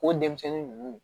O denmisɛnnin ninnu